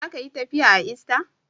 Za ka yi tafiya a ista.